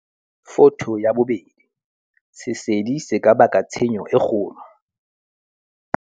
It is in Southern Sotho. Photo 2. Sesedi se ka baka tshenyo e kgolo.